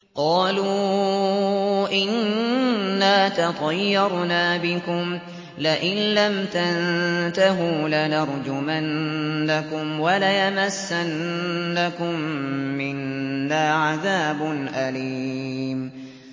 قَالُوا إِنَّا تَطَيَّرْنَا بِكُمْ ۖ لَئِن لَّمْ تَنتَهُوا لَنَرْجُمَنَّكُمْ وَلَيَمَسَّنَّكُم مِّنَّا عَذَابٌ أَلِيمٌ